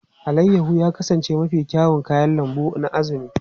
Alayyahu ya kasance mafi kyawun kayan lambu na Azumi.